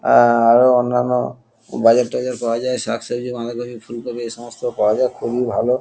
আআ আরো অন্যানো বাজারটাজার পাওয়া যায় শাকসবজি বাঁধাকপি ফুলকপি এ সমস্ত পাওয়া যায় খুবই ভালো।